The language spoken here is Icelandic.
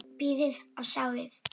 Bíðið og sjáið!